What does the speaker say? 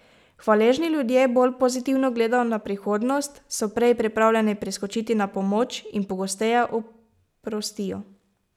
Hvaležni ljudje bolj pozitivno gledajo na prihodnost, so prej pripravljeni priskočiti na pomoč in pogosteje oprostijo.